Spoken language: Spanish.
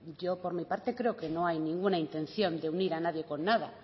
yo por mi parte creo que no hay ninguna intención de unir a nadie con nada